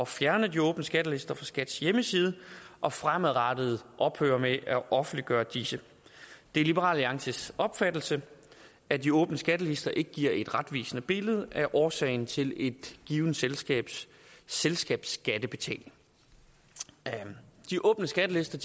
fjerne de åbne skattelister fra skats hjemmeside og fremadrettet ophøre med at offentliggøre disse det er liberal alliances opfattelse at de åbne skattelister ikke giver et retvisende billede af årsagen til et givet selskabs selskabsskattebetaling de åbne skattelister